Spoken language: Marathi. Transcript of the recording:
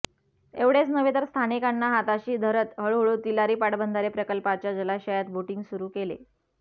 एवढेच नव्हे तर स्थानिकांना हाताशी धरत हळूहळू तिलारी पाटबंधारे प्रकल्पाच्या जलाशयात बोटिंग सुरू केले